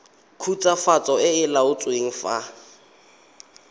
khutswafatso e e laotsweng fa